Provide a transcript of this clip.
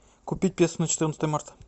купить песо на четырнадцатое марта